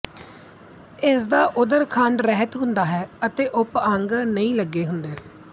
ਇਸਦਾ ਉਦਰ ਖੰਡ ਰਹਿਤ ਹੁੰਦਾ ਹੈ ਅਤੇ ਉਪਅੰਗ ਨਹੀਂ ਲੱਗੇ ਹੁੰਦੇ